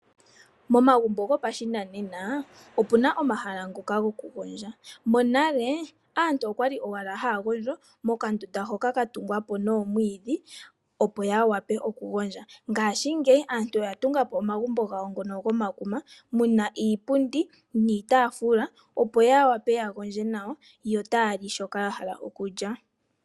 Momagumbo gopashinanena omuna omahala ngoka gokugondja monale aantu okwali haagondjo mondunda yatugwapo nomwiidhi opo ya wape okuhondja. Ngaashi ngeyi aantu oya tunga po omagumbo gomakuma muna iipundi niitafula opo ya wape yagondje nawa yo taa li shoka yahala okulya.